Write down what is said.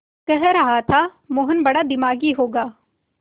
कह रहा था मोहन बड़ा दिमागी होगा